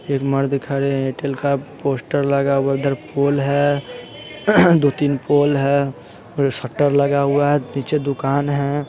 एक मर्द खड़े एयरटेल का पोस्टर लगा हुआ उधर पोल है दो-तीन पोल है शटर लगा हुआ है नीचे दुकान है।